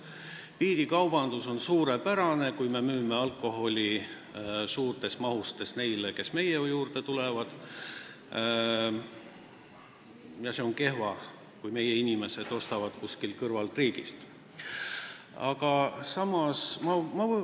Piirikaubandus on suurepärane, kui me müüme alkoholi suurtes mahtudes neile, kes meie juurde tulevad, ja see on kehva, kui meie inimesed ostavad kuskilt meie kõrval asuvast riigist.